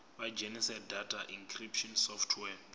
vha dzhenise data encryption software